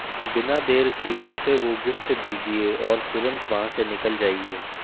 बिना देर किये उसे वो गिफ्ट दीजिए और तुरंत वहां से निकल जाइए